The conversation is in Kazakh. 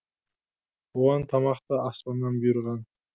оған тамақ та аспаннан бұйырған